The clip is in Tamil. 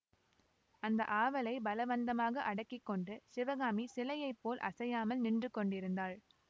அந்த ஆவலைப் பலவந்தமாக அடக்கிக்கொண்டு சிவகாமி சிலையை போல் அசையாமல் நின்றுகொண்டிருந்தாள்